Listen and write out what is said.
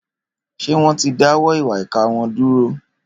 Ṣé wọ́n ti dáwọ́ ìwà ìkà wọn dúró?